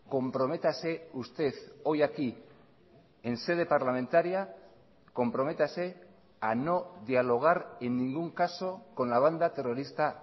comprométase usted hoy aquí en sede parlamentaria comprométase a no dialogar en ningún caso con la banda terrorista